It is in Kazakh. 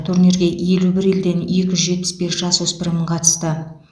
турнирге елу бір елден екі жүз жетпіс бес жасөспірім қатысты